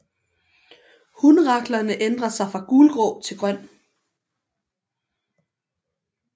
Hunraklerne ændrer sig fra gulgrå til grøn